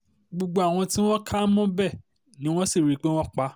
gbogbo àwọn tí wọ́n kà mọ́bẹ̀ ni wọ́n sì rí i pé àwọn pa